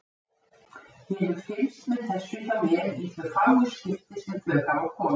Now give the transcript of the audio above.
Ég hef fylgst með þessu hjá mér í þau fáu skipti sem þau hafa komið.